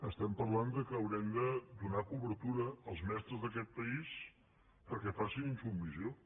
estem parlant que haurem de donar cobertura als mestres d’aquest país perquè facin insubmissió